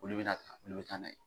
Olu bɛna ta olu bɛ taa na ye.